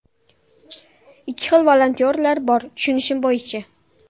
Ikki xil volontyorlar bor, tushunishim bo‘yicha.